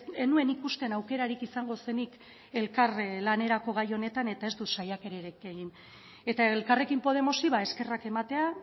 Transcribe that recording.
ez nuen ikusten aukeratik izango zenik elkar lanerako gai honetan eta ez dut saiakerarik egin eta elkarrekin podemosi eskerrak ematea